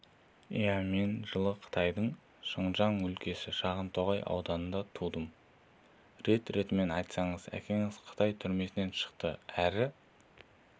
иә мен жылы қытайдың шыңжан өлкесі шағантоғай ауданында тудым рет-ретімен айтсаңыз әкеңіз қытай түрмесінен шықты әрі